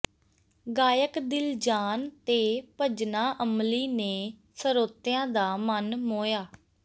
ਗਾਇਕ ਦਿਲਜਾਨ ਤੇ ਭਜਨਾ ਅਮਲੀ ਨੇ ਸਰੋਤਿਆਂ ਦਾ ਮਨ ਮੋਹਿਆ